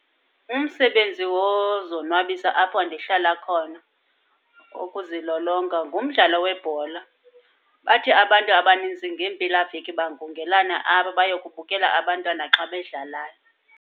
Umsebenzi wozonwabisa apho ndihlala khona okuzilolonga ngumdlalo webhola. Bathi abantu abanintsi ngeempelaveki bangungelane apho bayokubukela abantwana xa bedlalayo.